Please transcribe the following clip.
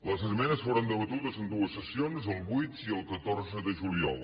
les esmenes foren debatudes en dues sessions el vuit i el catorze de juliol